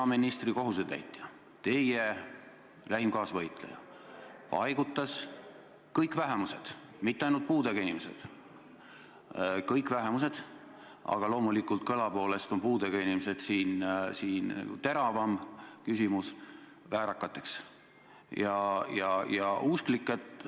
Peaministri kohusetäitja, teie lähim kaasvõitleja, paigutas kõik vähemused – mitte ainult puudega inimesed, vaid kõik vähemused, aga üldistusena on puudega inimesed siin kõige teravam küsimus – väärakate kategooriasse.